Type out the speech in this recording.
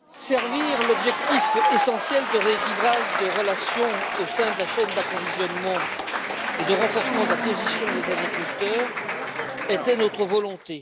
Servir l'objectif essentiel de rééquilibrage des relations au sein de la chaîne d'approvisionnement et de renforcement de la position des agriculteurs était notre volonté.